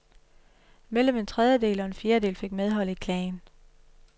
Mellem en tredjedel og en fjerdedel fik medhold i klagen.